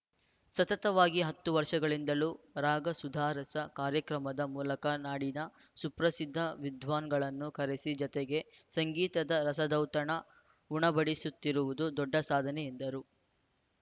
ಸತತವಾಗಿ ಹತ್ತು ವರ್ಷಗಳಿಂದಲೂ ರಾಗಸುಧಾರಸ ಕಾರ್ಯಕ್ರಮದ ಮೂಲಕ ನಾಡಿನ ಸುಪ್ರಸಿದ್ಧ ವಿದ್ವಾನ್‌ಗಳನ್ನು ಕರೆಸಿ ಜನತೆಗೆ ಸಂಗೀತದ ರಸದೌತಣ ಉಣಬಡಿಸುತ್ತಿರುವುದು ದೊಡ್ಡ ಸಾಧನೆ ಎಂದರು